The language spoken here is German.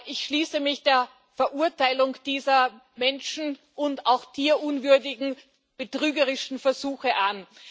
Ich schließe mich der Verurteilung dieser menschen und auch tierunwürdigen betrügerischen Versuche an.